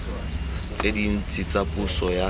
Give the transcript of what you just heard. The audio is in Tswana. tse dintsi tsa puso ya